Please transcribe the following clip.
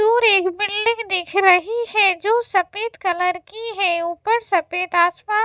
दूर एक बिल्डिंग दिख रही है जो सफेद कलर की है ऊपर सफेद आसमान --